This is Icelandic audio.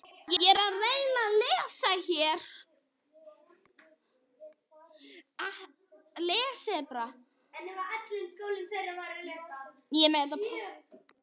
Heimir Már Pétursson: Hefurðu einhvern tímann skipt um dekk á bíl?